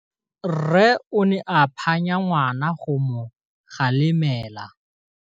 Rre o ne a phanya ngwana go mo galemela.